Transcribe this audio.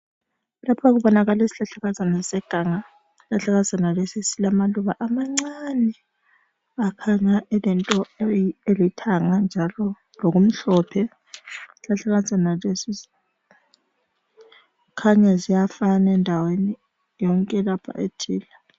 Lapha kubonakala isihlahlakazana seganga isihlahlakazana lesi silamaluba amancane laphana kulento elithanga njalo lokumhlophe. Isihlahlakazana kukhanya ziyafana endaweni yonke lapha ethile.